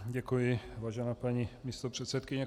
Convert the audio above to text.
Děkuji, vážená paní místopředsedkyně.